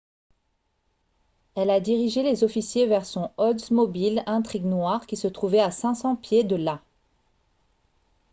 elle a dirigé les officiers vers son oldsmobile intrigue noire qui se trouvait à 500 pieds de là